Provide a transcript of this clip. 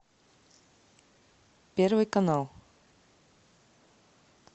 первый канал